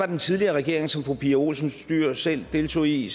den tidligere regering som fru pia olsen dyhr selv deltog i